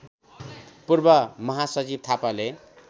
पूर्व महासचिव थापाले